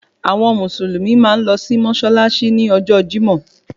Àwọn mùsùlùmí máa ń lọ sí mọ́ṣáláṣí ní ọjọ́ Jímọ̀